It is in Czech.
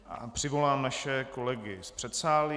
Přivolám naše kolegy z předsálí.